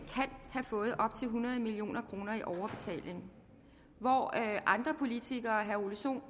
have fået op til hundrede million kroner i overbetaling hvor andre politikere herre ole sohn